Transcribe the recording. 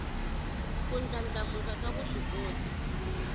ku ndlandlamuka ka vuswikoti